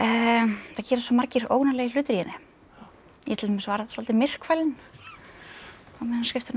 það gerast svo margir óvanalegir hlutir í henni ég til dæmis varð svolítið myrkfælin á meðan á skriftunum stóð